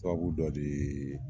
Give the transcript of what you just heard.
Sababu dɔ de yee